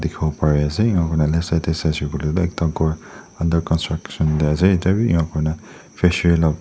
dikhiwo pariase enika kurina left side tae saishey koilae ekta ghor under construction tae ase etya bi enika kurina fishery la--